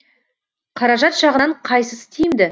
қаражат жағынан қайсысы тиімді